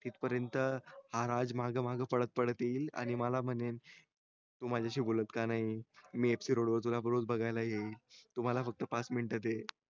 तिथ पर्यंत हा राज रोज मागे मागे पडत पडत येईल आणि मला म्हणेल ती माझ्याशी बोलत का नाही मी FC road वर तुला रोज बगायला येईल तू मला फक्त पाच मिनिटे minute दे